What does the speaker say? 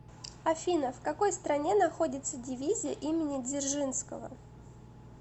афина в какой стране находится дивизия имени дзержинского